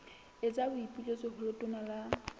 etsa boipiletso ho letona la